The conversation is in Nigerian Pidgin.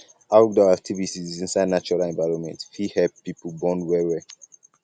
ourdoor activities inside natural environment fit help um um pipo bond well well